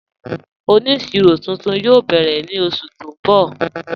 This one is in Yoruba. Oníṣírò tuntun yóò bẹ́rẹ̀ ni oṣù tí n bọ́.